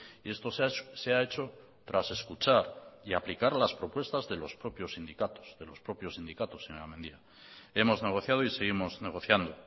y esto se ha hecho tras escuchar y aplicar las propuestas de los propios sindicatos señora mendia hemos negociado y seguimos negociando